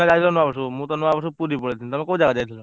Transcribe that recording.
ଆମେ ଯାଇଥିଲୁ ଏପଟର ଦିଘା line ଯାଇଥିଲୁ।